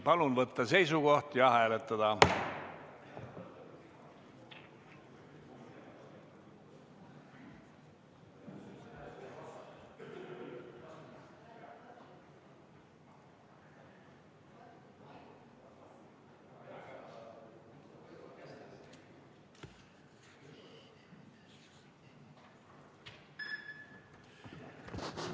Palun võtta seisukoht ja hääletada!